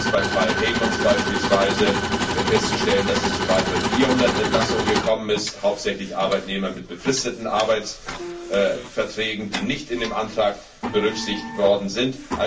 Beim Fall Heijmans ist beispielsweise festzustellen, dass es zu weiteren 400 Entlassungen gekommen ist, hauptsächlich Arbeitnehmer mit befristeten Arbeitsverträgen, die nicht in dem Antrag berücksichtigt worden sind.